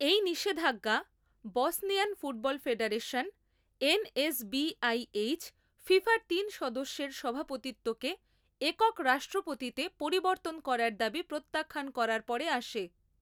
এই নিষেধাজ্ঞা Bosnian football federation NSBIH ফিফার তিন সদস্যের সভাপতিত্বকে একক রাষ্ট্রপতিতে পরিবর্তন করার দাবি প্রত্যাখ্যান করার পরে আসে।